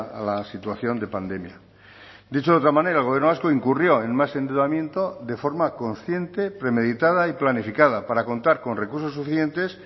a la situación de pandemia dicho de otra manera el gobierno vasco incurrió en más endeudamiento de forma consciente premeditada y planificada para contar con recursos suficientes